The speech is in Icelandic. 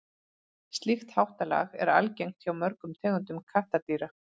slíkt háttalag er algengt hjá mörgum tegundum kattardýra